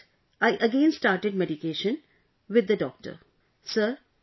And along with that, I again started medication with the doctor